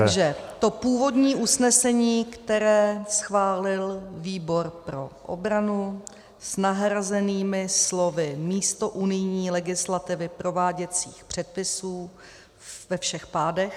Takže to původní usnesení, které schválil výbor pro obranu, s nahrazenými slovy místo "unijní legislativy" "prováděcích předpisů" ve všech pádech.